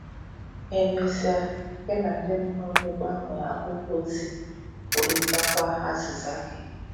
E mesịa, um gị na ndị mụrụ gị um gbanwee akwụkwọ ozi, kwurịtakwa um azịza gị.